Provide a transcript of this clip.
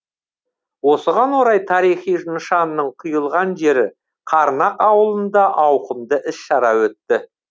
осыған орай тарихи нышанның құйылған жері қарнақ ауылында ауқымды іс шара өтті